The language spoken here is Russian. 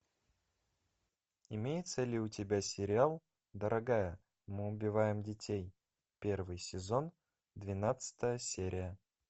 имеется ли у тебя сериал дорогая мы убиваем детей первый сезон двенадцатая серия